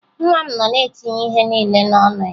Nwa m nọ na-etinye ihe niile n'ọnụ ya